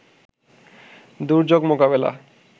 দুর্যোগ মোকাবেলা